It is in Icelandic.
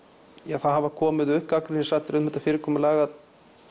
það hafa komið upp gagnrýnisraddir um þetta fyrirkomulag að